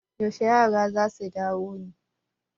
Yaushe yara za su dawo ne?